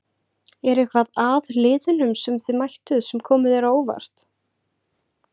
Er eitthvað að liðunum sem þið mættuð sem komu þér á óvart?